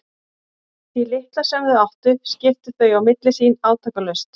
Því litla sem þau áttu skiptu þau á milli sín átakalaust.